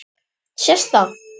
Sést það?